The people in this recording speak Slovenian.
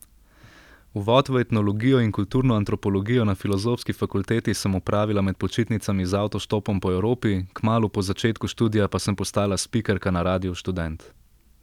Uvod v etnologijo in kulturno antropologijo na filozofski fakulteti sem opravila med počitnicami z avtoštopom po Evropi, kmalu po začetku študija pa sem postala spikerka na Radiu Študent.